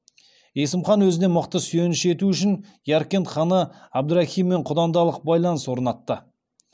есім хан өзіне мықты сүйеніш ету үшін яркент ханы әбдірахиммен құдандалық байланыс орнатты